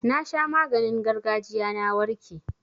Na sha maganin gargajiya na warke.